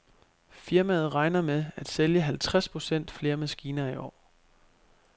Firmaet regner med at sælge halvtreds procent flere maskiner i år.